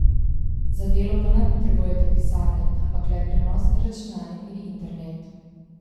Za delo pa ne potrebujete pisarne, ampak le prenosni računalnik in internet.